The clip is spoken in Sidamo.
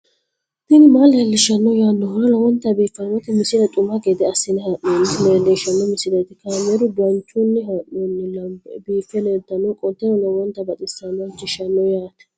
tini maa leelishshanno yaannohura lowonta biiffanota misile xuma gede assine haa'noonnita leellishshanno misileeti kaameru danchunni haa'noonni lamboe biiffe leeeltannoqolten lowonta baxissannoe halchishshanno yaate